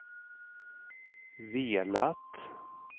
velat